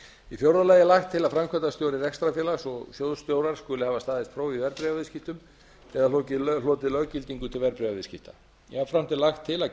í fjórða lagi er lagt til að framkvæmdastjóri rekstrarfélags og sjóðstjóra skuli hafa staðist próf í verðbréfaviðskiptum eða hlotið löggildingu til verðbréfaviðskipta jafnframt er lagt til að